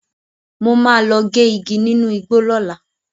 Mo máa lọ gé igi nínu igbó lọ́la.